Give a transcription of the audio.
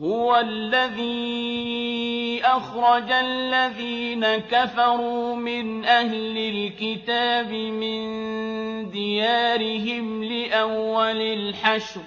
هُوَ الَّذِي أَخْرَجَ الَّذِينَ كَفَرُوا مِنْ أَهْلِ الْكِتَابِ مِن دِيَارِهِمْ لِأَوَّلِ الْحَشْرِ ۚ